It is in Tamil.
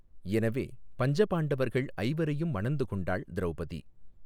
எனவே பஞ்ச பாண்டவர்கள் ஐவரையும் மணந்து கொண்டாள் திரௌபதி.